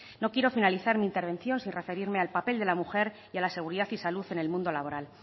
no quiero finalizar mi intervención sin referirme al papel de la mujer y a la seguridad y salud en el mundo laboral